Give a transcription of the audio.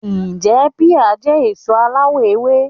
Ǹjẹ́ píà jẹ́ èso aláwọ̀ ewé